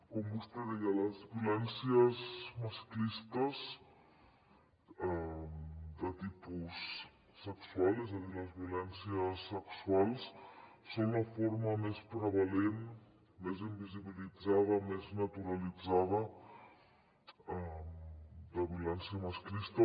com vostè deia les violències masclistes de tipus sexual és a dir les violències sexuals són la forma més prevalent més invisibilitzada més naturalitzada de violència masclista